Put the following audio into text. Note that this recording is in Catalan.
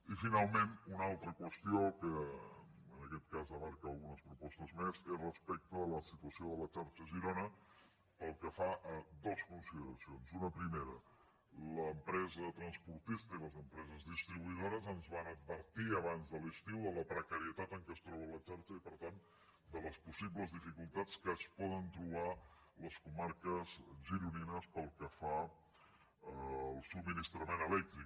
i finalment una altra qüestió que en aquest cas abraça algunes propostes més és respecte a la situació de la xarxa a girona pel que fa a dues consideracions una primera l’empresa transportista i les empreses distribuïdores ens van advertir abans de l’estiu de la precarietat en què es troba la xarxa i per tant de les possibles dificultats que es poden trobar les comarques gironines pel que fa al subministrament elèctric